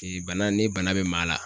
bana ni bana bɛ maa la